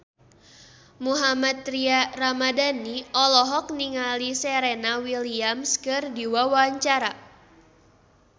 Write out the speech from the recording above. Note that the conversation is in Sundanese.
Mohammad Tria Ramadhani olohok ningali Serena Williams keur diwawancara